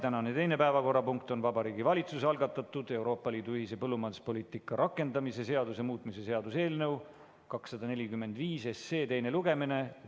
Tänane teine päevakorrapunkt on Vabariigi Valitsuse algatatud Euroopa Liidu ühise põllumajanduspoliitika rakendamise seaduse muutmise seaduse eelnõu 245 teine lugemine.